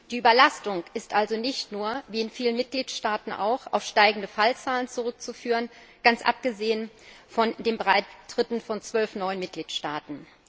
Die Überlastung ist also nicht nur wie in vielen Mitgliedstaaten auch auf steigende Fallzahlen zurückzuführen, ganz abgesehen von den Beitritten von zwölf neuen Mitgliedstaaten.